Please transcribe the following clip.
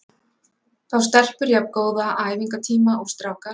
Fá stelpur jafn góða æfingatíma og strákar?